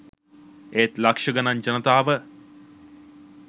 ඒත් ලක්ෂ ගණන් ජනතාව